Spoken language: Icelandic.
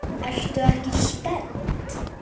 Ertu ekki spennt?